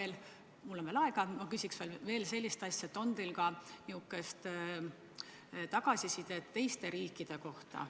Ja kuna mul on veel aega, siis küsin ka sellist asja, et on teil sellist tagasisidet ka teiste riikide kohta.